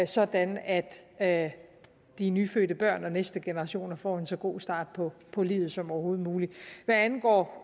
sådan at at de nyfødte børn og de næste generationer får en så god start på på livet som overhovedet muligt hvad angår